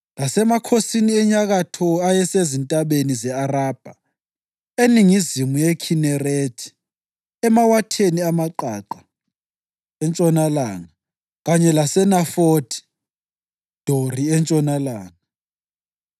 lasemakhosini enyakatho ayesezintabeni ze-Arabha eningizimu yeKhinerethi emawatheni amaqaqa entshonalanga kanye laseNafothi Dori entshonalanga;